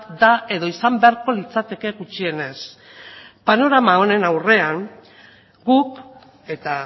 da edo izan beharko litzateke gutxienez panorama honen aurrean guk eta